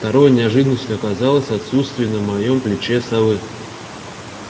второй неожиданностью оказалось отсутствие на моём плече совы